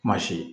Kuma si